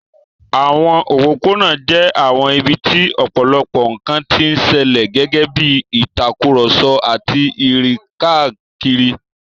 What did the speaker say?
Àwọn òpópónà jẹ́ àwọn ibi tí ọ̀pọ̀lọpọ̀ nkan ti ń ṣẹlẹ̀, gẹ́gẹ́ bí ìtàkùrọ̀sọ àti ìrìn káàkiri.